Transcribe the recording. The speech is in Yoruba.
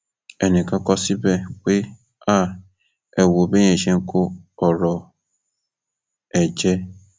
ẹnìkan kọ ọ síbẹ pé ha ẹ wo béèyàn ṣe ń kó ọrọ ẹ jẹ